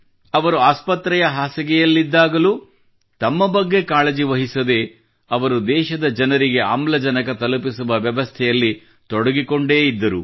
ಅವರು ಆಸ್ಪತ್ರೆಯ ಹಾಸಿಗೆಯಲ್ಲಿದ್ದಾಗಲೂ ತಮ್ಮ ಬಗ್ಗೆ ಕಾಳಜಿ ವಹಿಸದೆ ಅವರು ದೇಶದ ಜನರಿಗೆ ಆಮ್ಲಜನಕ ತಲುಪಿಸುವ ವ್ಯವಸ್ಥೆಯಲ್ಲಿ ತೊಡಗಿಕೊಂಡೇ ಇದ್ದರು